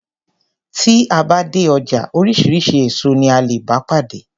Tí a bá dé ọjà oríṣiríṣi èso ní a lè bá pàdé.